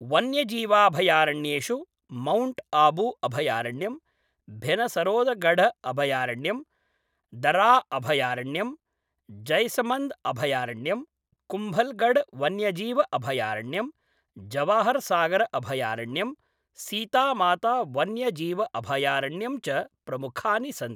वन्यजीवाभयारण्येषु mount Abu अभयारण्यम्, भेनसरोदगढ अभयारण्यम्, दर्रा अभयारण्यम्, जैसमन्द् अभयारण्यम्, कुम्भलगढवन्यजीव अभयारण्यम्, जवाहरसागर अभयारण्यम्, सीतामाता वन्यजीव अभयारण्यम् च प्रमुखानि सन्ति ।